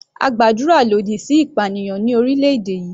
A gbàdúrà lòdì sí ìpànìyàn ní orílẹ̀-èdè yìí.